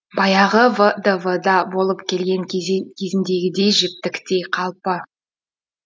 баяғы вдв да болып келген кезіндегідей жіптіктей қалпы